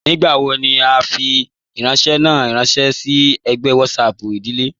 Nígbàwò ní à nfì ifìrànṣẹ̀ ná rànṣẹ sí ègbẹ̀ WhatsApp ìdílé